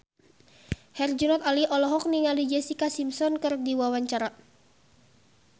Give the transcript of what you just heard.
Herjunot Ali olohok ningali Jessica Simpson keur diwawancara